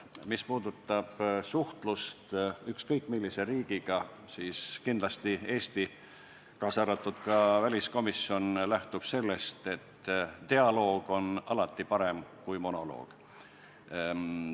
Mis puudutab suhtlust ükskõik millise teise riigiga, siis Eesti, kaasa arvatud väliskomisjon, lähtub kindlasti sellest, et dialoog on alati parem kui monoloog.